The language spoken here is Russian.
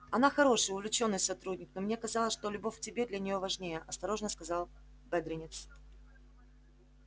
она хороший увлечённый сотрудник но мне казалось что любовь к тебе для неё важнее осторожно сказал бедренец